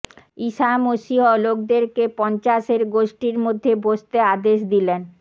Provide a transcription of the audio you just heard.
ঈসা মশীহ লোকদেরকে পঞ্চাশের গোষ্ঠীর মধ্যে বসতে আদেশ দিলেন